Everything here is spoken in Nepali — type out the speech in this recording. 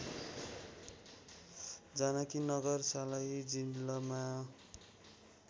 जानकीनगर सर्लाही जिल्लामा